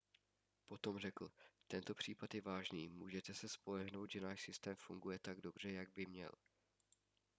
potom řekl tento případ je vážný můžete se spolehnout že náš systém funguje tak dobře jak by měl